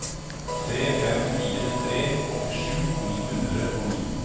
tre fem fire tre åttisju ni hundre og ni